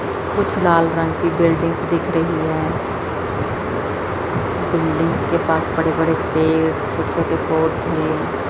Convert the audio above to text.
कुछ लाल रंग की बिल्डिंग्स दिख रही हैं बिल्डिंग्स के पास बड़े-बड़े पेड़ छोटे-छोटे पौधे --